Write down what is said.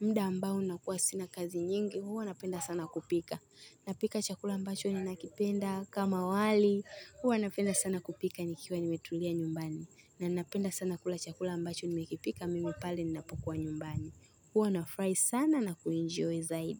Muda ambao nakuwa sina kazi nyingi, huwa napenda sana kupika. Napika chakula ambacho ninakipenda kama wali, huwa napenda sana kupika nikiwa nimetulia nyumbani. Na napenda sana kula chakula ambacho nimekipika, mimi pale ninapokuwa nyumbani. Huwa nafurahi sana na kuenjoy zaidi.